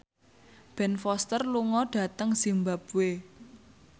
Ben Foster lunga dhateng zimbabwe